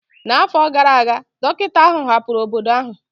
N'afọ gara aga, dọkịta ahụ hapụrụ obodo ahụ.